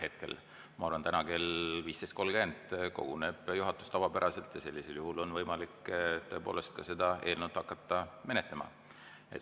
Hetkel ma arvan, et täna kell 15.30 koguneb juhatus tavapäraselt ja sellisel juhul on võimalik tõepoolest ka seda eelnõu menetlema hakata.